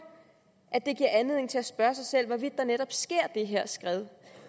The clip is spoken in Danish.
at det giver anledning til at spørge sig selv hvorvidt der netop sker det her skred